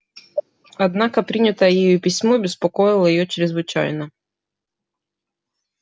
однако принятое ею письмо беспокоило её чрезвычайно